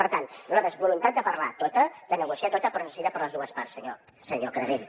per tant nosaltres voluntat de parlar tota de negociar tota però es necessita per les dues parts senyor canadell